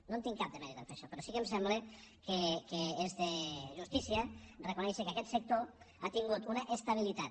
no en tinc cap de mèrit en fer això però sí que em sembla que és de justícia reconèixer que aquest sector ha tingut una estabilitat